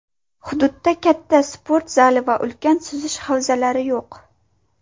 Hududda katta sport zali va ulkan suzish havzalari yo‘q.